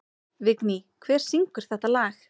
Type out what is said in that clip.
Vigný, hver syngur þetta lag?